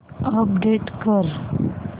update कर